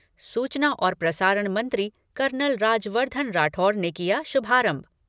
सूचना और प्रसारण मंत्री कर्नल राज्यवर्धन राठौड़ ने किया शुभारंभ।